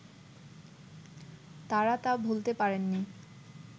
তারা তা ভুলতে পারেননি